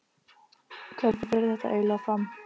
Hvernig fer þetta eiginlega fram?